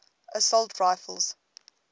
assault rifles